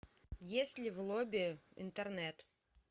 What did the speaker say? есть ли в лобби интернет